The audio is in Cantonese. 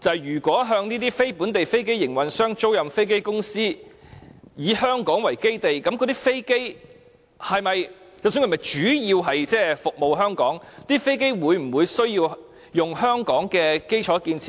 如果向"非香港飛機營運商"租賃飛機的公司，以香港為基地，無論那些飛機是否主要服務香港，會否同樣需要使用香港的基礎建設呢？